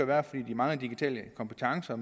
være fordi de mangler digitale kompetencer